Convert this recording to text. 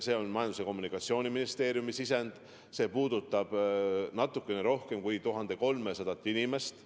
See on Majandus- ja Kommunikatsiooniministeeriumi sisend ja puudutab natukene rohkem kui 1300 inimest.